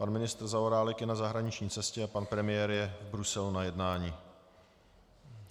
Pan ministr Zaorálek je na zahraniční cestě a pan premiér je v Bruselu na jednání.